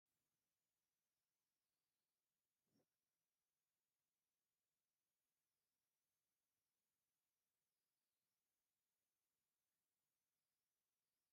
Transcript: ሣንጐ ኣብ ከባቢና ካብ ዝበቑሉ ምቑር ፍረ ዘለዎም እፅዋት ሓደ እዩ፡፡ እዚ ተኽሊ ሃገር በቆል ድዩስ ካብ ካልእ ሃገር ዝመፀ?